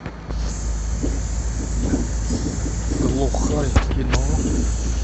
глухарь в кино